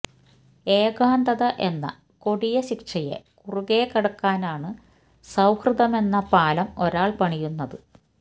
ഏകാന്തത എന്ന കൊടിയ ശിക്ഷയെ കുറുകെ കടക്കാനാണ് സൌഹൃദമെന്ന പാലം ഒരാൾ പണിയുന്നത്